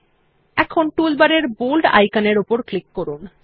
এখন টুলবারের বোল্ড আইকনের উপর ক্লিক করুন